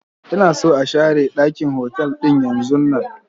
Ina son a share ɗakin otal ɗin yanzun nan!